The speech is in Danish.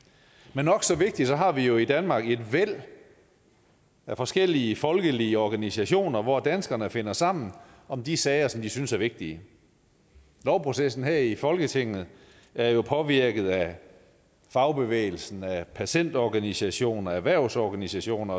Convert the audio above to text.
men nok så vigtigt har vi jo i danmark et væld af forskellige folkelige organisationer hvor danskerne finder sammen om de sager som de synes er vigtige lovprocessen her i folketinget er jo påvirket af fagbevægelsen af patientorganisationer og erhvervsorganisationer